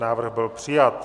Návrh byl přijat.